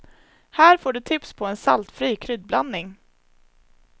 Här får du tips på en saltfri kryddblandning.